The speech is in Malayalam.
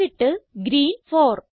എന്നിട്ട് ഗ്രീൻ 4